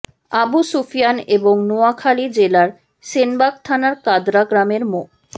আবু সুফিয়ান এবং নোয়াখালী জেলার সেনবাগ থানার কাদরা গ্রামের মো